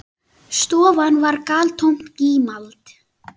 Stofan var galtómt gímald.